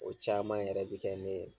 O caman yɛrɛ bi kɛ ne ye.